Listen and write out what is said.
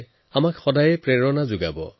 এই পৰম্পৰা মোৰ বাবে প্ৰেৰণাস্বৰূপ